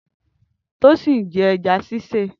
Tosin n jẹ ẹ̀já sisé